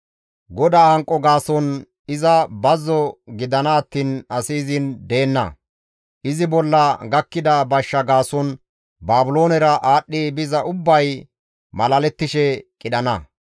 GODAA hanqo gaason iza bazzo gidana attiin asi izin deenna; izi bolla gakkida bashsha gaason Baabiloonera aadhdhi biza ubbay malalettishe iza qidhana.